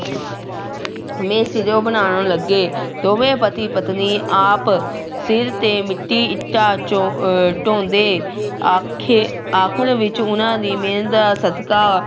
ਵੇਂ ਸਿਰੋਂ ਬਣਾਉਣ ਲੱਗੇ ਦੋਵੇਂ ਪਤੀ ਪਤਨੀ ਆਪ ਸਿਰ ਤੇ ਮਿੱਟੀ ਇੱਟਾਂ ਚੋਂ ਅਹ ਢਾਉਂਦੇ ਆਖੇ ਆਖਿਰ ਵਿੱਚ ਉਹਨਾਂ ਦੀ ਮਿਹਨਤ ਸਦਕਾ